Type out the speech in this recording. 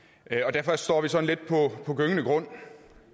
derfor står vi sådan lidt på gyngende grund